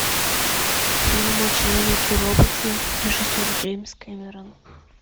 фильм о человеке роботе режиссер джеймс кэмерон